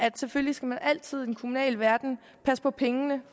selvfølgelig skal man altid i den kommunale verden passe på pengene